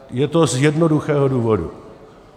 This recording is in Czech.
Je to z jednoduchého důvodu.